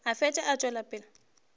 a fele a tšwela pele